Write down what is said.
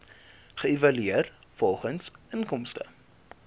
geëvalueer volgens inkomste